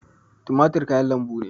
Tumatir kayan lambu ne